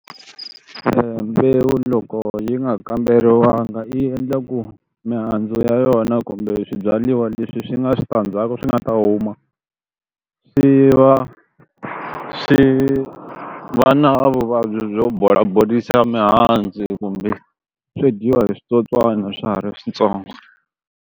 Mbewu loko yi nga kamberiwangi yi endla ku mihandzu ya yona kumbe swibyariwa leswi swi nga switandzhaku swi nga ta huma swi va swi va na vuvabyi byo bola borisa mihandzu kumbe swi dyiwa hi switsotswani swa ha ri swintsongo.